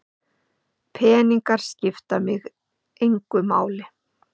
Peningar skipta mig engu máli.